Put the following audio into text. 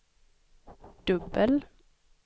dubbel